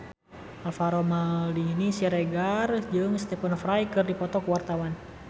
Alvaro Maldini Siregar jeung Stephen Fry keur dipoto ku wartawan